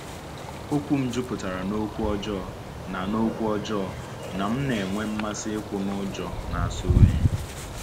Okwu m juputara n’okwu ọjọọ, na n’okwu ọjọọ, na m na-enwe mmasị ikwu n’ụjọ na-asọ oyi.